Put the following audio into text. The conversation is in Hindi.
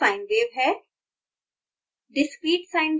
यह continous sine wave है